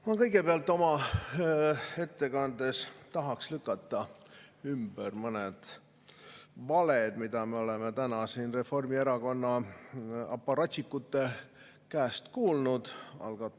Ma kõigepealt oma ettekandes tahaks lükata ümber mõned valed, mida me oleme täna siin Reformierakonna aparatšikute käest kuulnud.